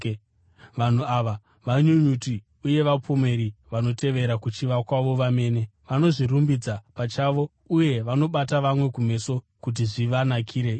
Vanhu ava vanyunyuti uye vapomeri; vanotevera kuchiva kwavo vamene; vanozvirumbidza pachavo uye vanobata vamwe kumeso kuti zvivanakire ivo.